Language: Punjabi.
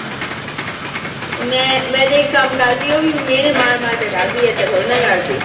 ਮੈਂ, ਮੈਂ ਜੇ ਇੱਕ ਕੰਮ ਕਰਦੀ, ਉਹ ਵੀ ਮਿਹਣੇ ਮਾਰ-ਮਾਰ ਕੇ ਕਰਦੀ, ਇਦਾਂ ਥੋੜ੍ਹੀ ਨਾ ਕਰਦੀ।